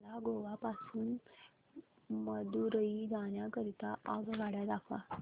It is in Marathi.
मला गोवा पासून मदुरई जाण्या करीता आगगाड्या दाखवा